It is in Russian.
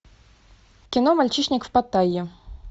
кино мальчишник в паттайе